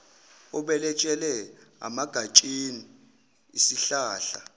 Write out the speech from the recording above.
obelethele emagatsheni esihlahla